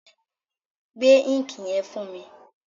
Gbé íǹkì yẹn fún mi!